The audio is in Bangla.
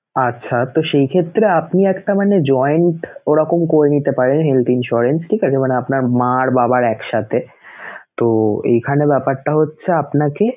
আচ্ছা তো সেই ক্ষেত্রে আপনি একটা মানে joint ওরকম করে নিতে পারেন health insurance ঠিক আছে? মানে আপনার মা আর বাবার একসাথে তো এখানে ব্যাপারটা হচ্ছে আপনাকে